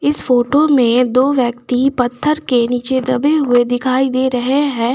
इस फोटो में दो व्यक्ति पत्थर के नीचे दबे हुए दिखाई दे रहे हैं।